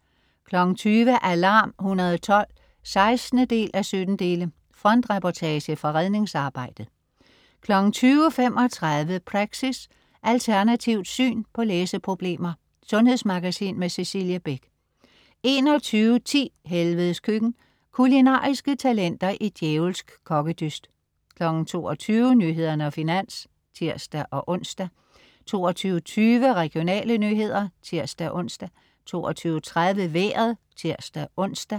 20.00 Alarm 112 16:17. Frontreportage fra redningsarbejdet 20.35 Praxis. Alternativt syn på læseproblemer. Sundhedsmagasin med Cecilie Beck 21.10 Helvedes Køkken. Kulinariske talenter i djævelsk kokkedyst 22.00 Nyhederne og Finans (tirs-ons) 22.20 Regionale nyheder (tirs-ons) 22.30 Vejret (tirs-ons)